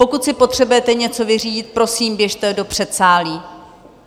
Pokud si potřebujete něco vyřídit, prosím, běžte do předsálí!